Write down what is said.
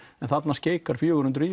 en þarna skeikar fjögur hundruð